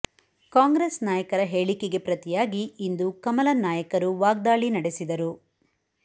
ಕಾಂಗ್ರೆಸ್ ನಾಯಕರ ಹೇಳಿಕೆಗೆ ಪ್ರತಿಯಾಗಿ ಇಂದು ಕಮಲ ನಾಯಕರು ವಾಗ್ದಾಳಿ ನಡೆಸಿದರು